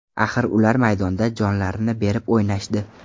Axir ular maydonda jonlarini berib o‘ynashdi.